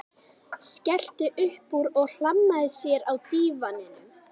Skellti upp úr og hlammaði sér á dívaninn.